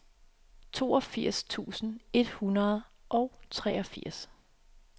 toogfirs tusind et hundrede og treogfirs